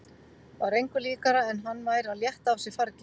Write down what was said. Var engu líkara en hann væri að létta af sér fargi.